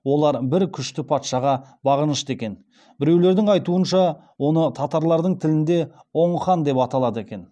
олар бір күшті патшаға бағынышты екен біреулердің айтуынша оны татарлардың тілінде оң хан деп аталады екен